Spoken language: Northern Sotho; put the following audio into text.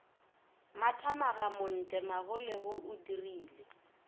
mathamaga montle magolego o dirile